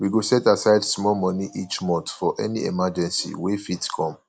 we go set aside small money each month for any emergency wey fit come